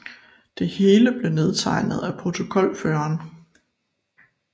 Det hele blev nedtegnet af protokolføreren